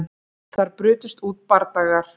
Þar brutust út bardagar